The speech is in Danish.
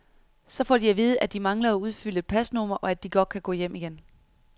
Så får de at vide, at de mangler at udfylde et pasnummer, og at de godt kan gå hjem igen.